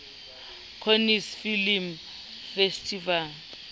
cannes film festival